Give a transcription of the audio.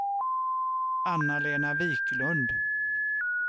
Anna-Lena Viklund